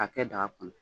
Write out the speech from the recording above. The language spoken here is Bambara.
K'a kɛ daga kɔnɔ